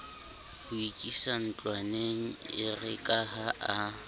ho ikisa ntlwaneng erekaha a